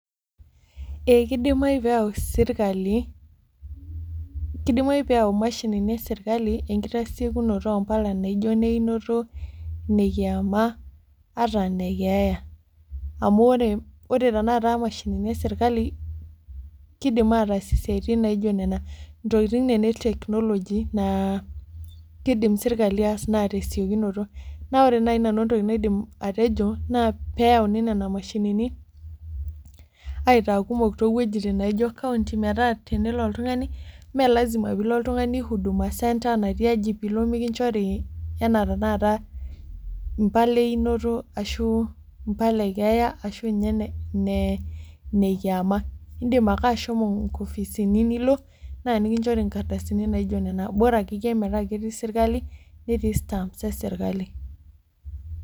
Eeh kidimayu pee eyau sirkali, kidimayu pee eyau imashinini ee sirkali enkitasiokunoto oompala naijo ineinoto, inekiama, ata inekeeya. Amu wore tenakata imashinini e sirkali, kiidim aatas isiatin naijo niana. Intokitin niana e technology naa kiidim serkali aas naa tesiokunoto. Naa wore naaji nanu entoki naidim atejo, naa pee euni niana mashinini, aitaa kumok toowojitin naijo county metaa tenelo oltungani, mee lasima piilo oltungani huduma center natii aji piilo mikinjori enaa tenakata impala eiinoto ashu impala e keeya ashu inye ine kiama. Indim ake ashomo inkopisini nilo naa nikinchori inkardasini naijo niana. Bora akeyie metaa ketii serkali netii stamp esirkali.